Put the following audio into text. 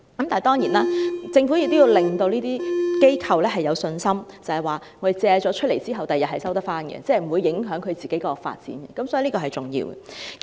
當然，政府也要讓發展商有信心，知道借出單位後，日後可以成功收回，不會影響它們的發展計劃，這也很重要。